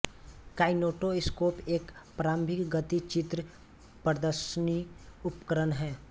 kinetoscope एक प्रारंभिक गति चित्र प्रदर्शनी उपकरण है